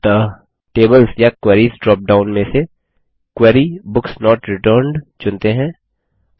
अतः टेबल्स या queries dropdown में से Query बुक्स नोट रिटर्न्ड चुनते हैं